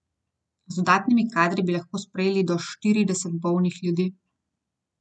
Z dodatnimi kadri bi lahko sprejeli do štirideset bolnih ljudi.